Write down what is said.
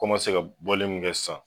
K'o ma se ka bɔli mun kɛ sisan